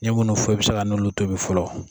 N ye munnu fɔ i be se k'a n'olu tobi fɔlɔ